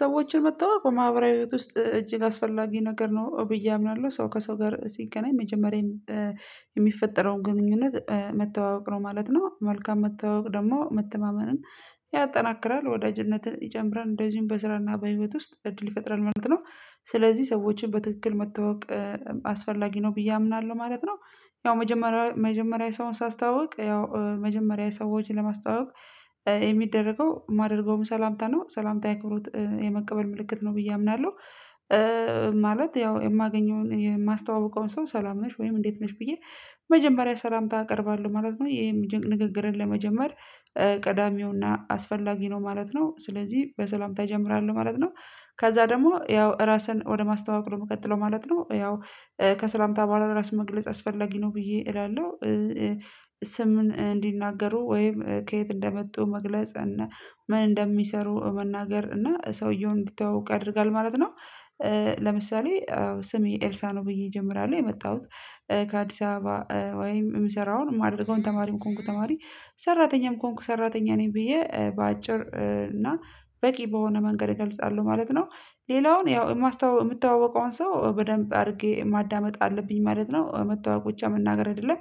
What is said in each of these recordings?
ሰዎችን መተዋወቅ በማህበራዊ ህይወት ውስጥ እጅግ አስፈላጊ ነገር ነው ብዬ አምናለሁ ሰው ከሰው ጋር ሲገናኝ መጀመሪያ የሚፈጠረውን ግንኙነት መተዋወቅ ነው ማለት ነው። መልካም መተዋወቅ ደግሞ መተማመንን ያጠናክራል ወዳጅነትን ይጨምራል እንደዚሁም በስራና በህይወት ውስጥ እድል ይፈጥራል ማለት ነው። ስለዚህ ሰዎችን በትክክል መተዋወቅ አስፈላጊ ነው ብዬ አምናለሁ ማለት ነው። ያው መጀመሪያ መጀመሪያ ሰውን ሳስታዋውቅ ያው መጀመሪያ ሰዎችን ለማስታዋወቅ የሚደረገው የማደርገውም ሰላምታ ነው ሰላምታ የአክብሮት የመቀበል ምልክት ነው ብዬ አምናለሁ። ማለት ያው የማገኘውን የማስተዋውቀውን ሰው ሰላም ነሽ ወይም እንዴት ነሽ ብዬ መጀመሪያ ሰላምታ አቀርባለሁ ማለት ነው የሚደንቅ ንግግርን ለመጀመር ቀዳሚውና አስፈላጊ ነው ማለት ነው ስለዚህ በሰላምታ እጀምራሉ ማለት ነው። ከዛ ደግሞ ያው ራስን ወደ ማስተዋወቅ ነው የምቀጥለው ማለት ነው ያው ከሰላምታ በኋላ ራስ መግለጽ አስፈላጊ ነው ብዬ እላለሁ። ስም እንዲናገሩ ወይም ከየት እንደመጡ መግለጽ ምን እንደሚሰሩ መናገር እና ሰውየው እንዲታውቅ ያደርጋል ማለት ነው። ለምሳሌ አዎ ስሜ ኤልሳ ነው ብዬ እጀምራለሁ የመጣሁት ከአዲስ ወይም የምሰራውን ማድረገውን ተማሪም ከሆንኩ ተማሪ ሰራተኛም ከሆንኩ ሰራተኛ ነኝ ብዬ በአጭር እና በቂ በሆነ መንገድ እገልጻለሁ ማለት ነው። ሌላውን ያው የምታዋወቀውን ሰው በደንብ አድርጌ ማዳመጥ አለብኝ ማለት ነው መተዋቅ ብቻ መናገር አይደለም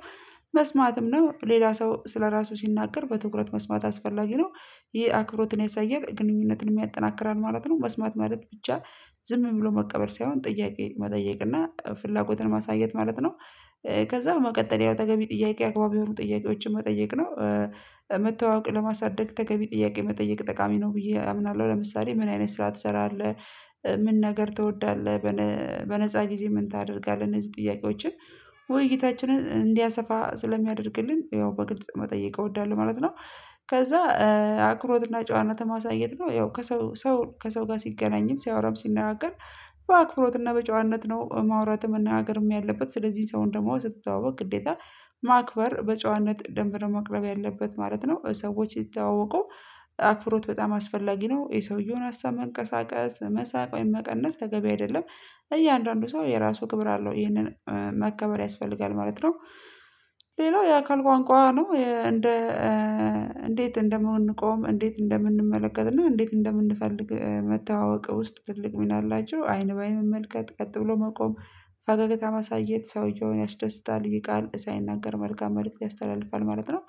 መስማትም ነው ሌላ ሰው ስለራሱ ሲናገር በትኩረት መስማት አስፈላጊ ነው። ይህ አክብሮትን ያሳያል ግንኙነትን ያጠናክራል ማለት ነው መስማት ማለት ብቻ ዝም ብሎ መቀበል ሳይሆን ጥያቄ መጠየቅ እና ፍላጎትን ማሳየት ማለት ነው። ከዛ በመቀጠል ያው ተገቢ ጥያቄ አግባብ የሆኑ ጥያቄዎችን መጠየቅ ነው። መተዋወቅ ለማሳደግ ተገቢ ጥያቄ መጠየቅ ጠቃሚ ነው ብዬ አምናለሁ ለምሳሌ ምን አይነት ስራ ትሰራለህ ምን ነገር ትወዳለህ? በነፃ ጊዜ ምን ታደርጋለህ እነዚህ ጥያቄዎችን ውይይታችንን እንዲያሰፋ ስለሚያደርግልን ያው በግልጽ መጠየቅ እወዳለሁ ማለት ነው። ከዛ አኩብሮትና ጨዋነት ማሳየት ነው ያው ከሰው ሰው ከሰው ጋር ሲገናኝም ሲያወራም ሲነጋገር በአክብሮትና በጨዋነት ነው ማውራትም እና መነጋገርም ያለበት ስለዚህ ሰውን ደግሞ ስትተዋወቅ ግዴታ ማክበር በጨዋነት ደንብ መቅረብ ያለበት ማለት ነው። ሰዎች ሲተተዋወቁ አኩብሮት በጣም አስፈላጊ ነው የሰውየውን ሀሳብ መንቀሳቀስ መሳቅ ወይም መቀነስ ተገቢ አይደለም እያንዳንዱ ሰው የራሱ ክብር አለው ይህንን መከበር ያስፈልጋል ማለት ነው። ሌላው የአካል ቋንቋ ነው። እንዴት እንደምንቆም እንዴት እንደምንመለከትና እንዴት እንደምንፈልግ መተዋወቅ ውስጥ ትልቅ ሚን አላቸው አይን ለአይን መመልከት ቀጥ ብሎ መቆም ፈገግታ ማሳየት ሰውየውን ያስደስታል ይ ቃል ሳይናገር መልካም መልእክት ያስተላልፋል ማለት ነው።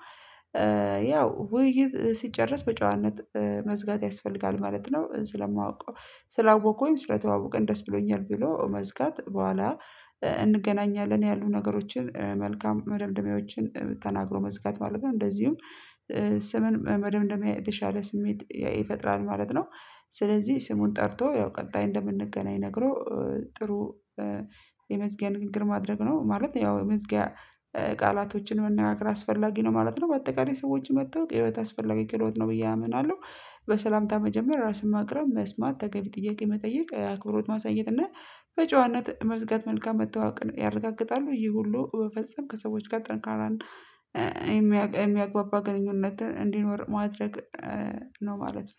ያው ውይይት ሲጨረስ በጨዋነት መዝጋት ያስፈልጋል ማለት ነው። ስለማውቀው ስላወቁኝ ስለተዋወቀን ደስ ብሎኛል ብሎ መዝጋት በኋላ እንገናኛለን ያሉ ነገሮችን መልካም መደምደሚያዎችን ተናግሮ መዝጋት ማለት ነው። እንደዚሁም ስምን መደምደሚያ የተሻለ ስሜት ይፈጥራል ማለት ነው። ስለዚህ ስሙን ጠርቶ ያው ቀጣይ እንደምንገናኝ ነግሮ ጥሩ የመዝጊያ ንግግር ማድረግ ነው ማለት ያው መዝጊያ ቃላቶችን መነጋገር አስፈላጊ ነው ማለት ነው። በአጠቃላይ ሰዎች መታወቅ የህይወት አስፈላጊ ክህሎት ነው ብዬ አምናለሁ። በሰላምታ መጀመር ራስን ማቅረብ መስማት ተገቢ ጥያቄ መጠየቅ አክብሮት ማሳየት እና በጨዋነት መዝጋት መልካም መተዋወቅ ያረጋግጣሉ ይሄ ሁሉ በፈጸም ከሰዎች ጋር ጠንካራ የሚግባባ ግንኙነትን እንዲኖር ማድረግ ነው ማለት ነው።